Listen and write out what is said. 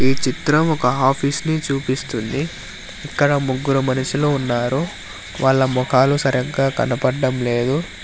ఈ చిత్రం ఒక ఆఫీస్ ని చూపిస్తుంది ఇక్కడ ముగ్గురు మనుషులు ఉన్నారు వాళ్ళ మొఖాలు సరిగ్గా కనబడం లేదు.